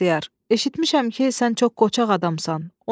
Usta Bəxtiyar, eşitmişəm ki, sən çox qoçaq adamsan.